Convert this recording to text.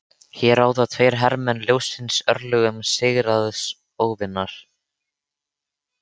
Hér ráða tveir hermenn ljóssins örlögum sigraðs óvinar.